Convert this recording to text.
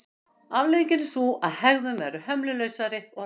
Afleiðingin er sú að hegðun verður hömlulausari og hressari.